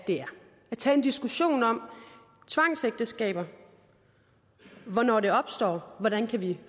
tage en diskussion om tvangsægteskaber hvornår de opstår hvordan vi